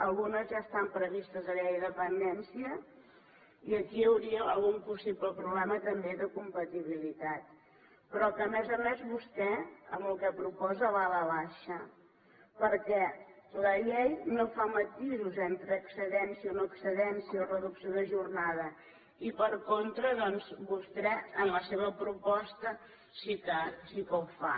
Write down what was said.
algunes ja estan previstes a la llei de dependència i aquí hi hauria algun possible problema també de compatibilitat però que a més a més vostè amb el que proposa va a la baixa perquè la llei no fa matisos entre excedència o noexcedència o reducció de jornada i per contra doncs vostè en la seva proposta sí que ho fa